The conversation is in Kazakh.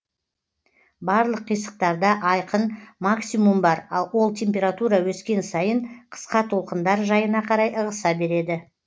барлық қисықтарда айқын максимум бар ал ол температура өскен сайын қысқа толқындар жайына қарай ығыса береді